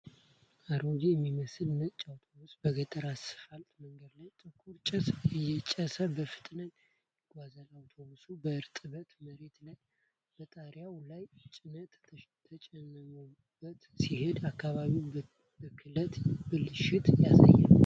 አሮጌ የሚመስል ነጭ አውቶቡስ በገጠር አስፋልት መንገድ ላይ ጥቁር ጭስ እያጨሰ በፍጥነት ይጓዛል። አውቶቡሱ በእርጥበት መሬት ላይ በጣሪያው ላይ ጭነት ተጭኖበት ሲሄድ፤ የአካባቢ ብክለትንና ብልሽትን ያሳያል።